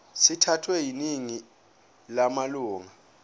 sithathwe yiningi lamalunga